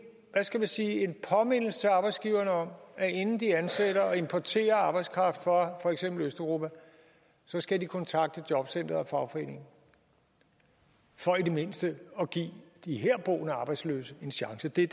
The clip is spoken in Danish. hvad skal man sige påmindelse til arbejdsgiverne om at inden de ansætter og importerer arbejdskraft fra for eksempel østeuropa skal de kontakte jobcenter og fagforening for i det mindste at give de herboende arbejdsløse en chance det